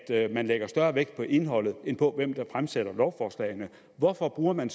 at man lægger større vægt på indholdet end på hvem der fremsætter lovforslagene hvorfor bruger man